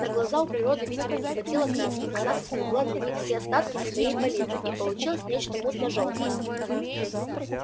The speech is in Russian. на глаза у природы видимо не хватило краски она соскребла для них все остатки со своей палитры и получилось нечто мутно-жёлтое